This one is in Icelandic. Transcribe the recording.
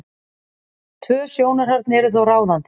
Tvö sjónarhorn eru þó ráðandi.